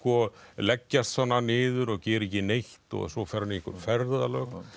leggjast niður og gera ekki neitt og svo fer hann í einhver ferðalög